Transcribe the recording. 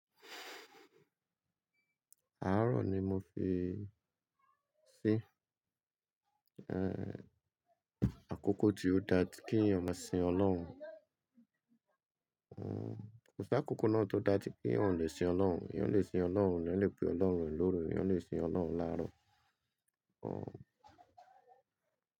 Àárọ̀ ni mo fii sín, ẹ́, àkókò tí ó dá tí kí èèyàn máa sin Ọlọ́run.- Kò sí àkókò náà tó dá tí èèyàn ò lè sin Ọlọ́run. Èèyàn lè sin Ọlọ́run, lè pè Ọlọ́run ẹ̀ lóru, èèyàn lè sin Ọlọ́run láàárọ̀.-